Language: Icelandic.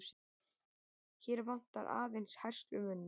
Hér vantar aðeins herslumuninn.